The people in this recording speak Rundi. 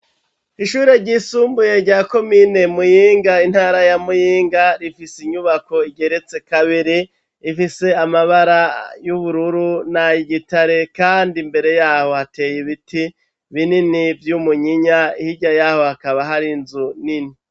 Ishuri ryisumbuye rya komine Muyinga intara ya Muyinga rifise inyubako igeretse kabiri, ifise amabara y'ubururu n'ay'igitare kandi imbere yaho hateye ibiti binini vy'umunyinya hirya yaho hakaba hari nzu nini.